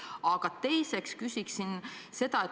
Aga teiseks küsiksin seda.